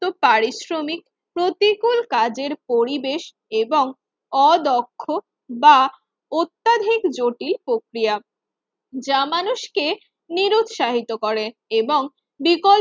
তো পারিশ্রমিক প্রতিকূল কাজের পরিবেশ এবং অদক্ষ বা অত্যাধিক জটিল প্রক্রিয়া যা মানুষকে নিরোত সাহিত্ করে এবং বিকল্প